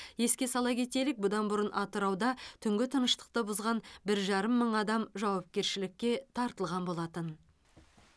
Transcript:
еске сала кетелік бұдан бұрын атырауда түнгі тыныштықты бұзған бір жарым мың адам жауапкершілікке тартылған болатын